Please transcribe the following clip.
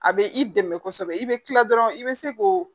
A bɛ i dɛmɛ kosɛbɛ i bɛ kila dɔrɔn i bɛ se k'o